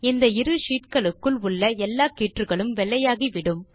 இந்த இரு ஷீட் களுக்குள் உள்ள எல்லா கீற்றுகளும் வெள்ளையாக ஆகிவிடும்